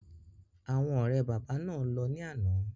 Àwọn ọ̀rẹ́ bàbá náà lọ ní àná.